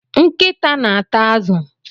Nkịta na-ata azụ.